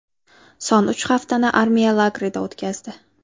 Son uch haftani armiya lagerida o‘tkazdi.